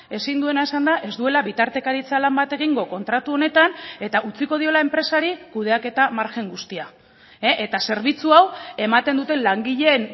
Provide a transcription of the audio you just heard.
ezin duena esan da ez duela bitartekaritza lan bat egingo kontratu honetan eta utziko diola enpresari kudeaketa margen guztia eta zerbitzu hau ematen duten langileen